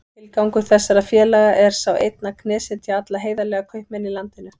Tilgangur þessara félaga er sá einn að knésetja alla heiðarlega kaupmenn í landinu.